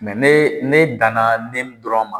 ne ne danna nemu dɔrɔn ma